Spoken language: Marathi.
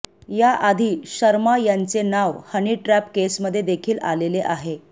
याआधी शर्मा यांचे नाव हनी ट्रॅप केसमध्ये देखील आलेले आहे